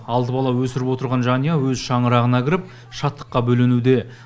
алты бала өсіріп отырған жанұя өз шаңырағына кіріп шаттыққа бөленуде